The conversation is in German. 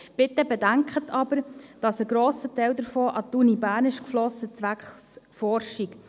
Bitte bedenken Sie aber, dass ein grosser Teil davon zwecks Forschung an die Universität Bern geflossen ist.